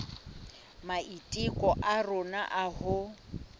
maiteko a rona a ho